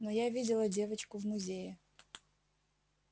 но я видела девочку в музее